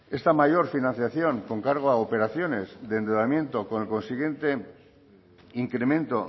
esta mayor financiación con cargo a operaciones de endeudamiento con el consiguiente incremento